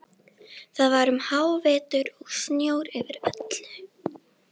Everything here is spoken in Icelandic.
Það var um hávetur og snjór yfir öllu.